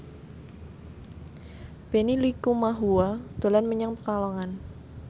Benny Likumahua dolan menyang Pekalongan